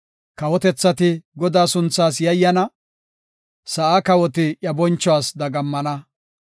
Kawotethati Godaa sunthaas yayyana; sa7aa kawoti iya bonchuwas dagammana.